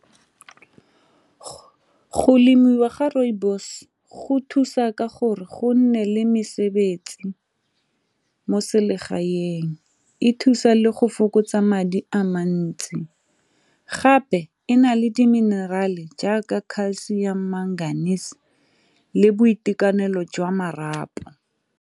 Go lemiwa ga rooibos go thusa ka gore go nne le mesebetsi mo selegaeng, e thusa le go fokotsa madi a mantsi gape e na le di minerale jaaka calcium magnesium le boitekanelo jwa marapo.